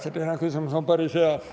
See teine küsimus on päris hea.